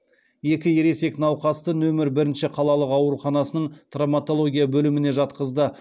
екі ересек науқасты нөмір бірінші қалалық ауруханасының травматология бөліміне жатқызды